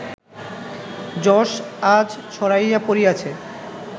যশ আজ ছড়াইয়া পড়িয়াছে